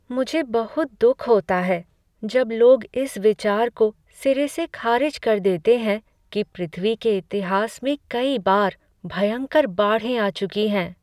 मुझे बहुत दुख होता है जब लोग इस विचार को सिरे से खारिज कर देते हैं कि पृथ्वी के इतिहास में कई बार भयंकर बाढ़ें आ चुकी हैं।